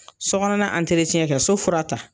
So kɔnɔna kɛ, so fura tan.